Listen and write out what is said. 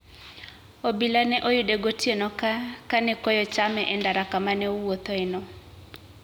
Obila ne oyude gotieno ka ne koyo chame e ndara kama ne owuothoeno.